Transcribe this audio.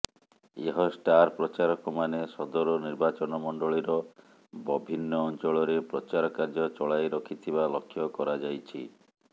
ଏହ ଷ୍ଟାର ପ୍ରଚାରକମାନେ ସଦର ନିର୍ବାଚନମଣ୍ଡଳୀର ବଭିନ୍ନ ଅଞ୍ଚଳରେ ପ୍ରଚାର କାର୍ଯ୍ୟ ଚଳାଇ ରଖିଥିବା ଲକ୍ଷ୍ୟ କରାଯାଇଛି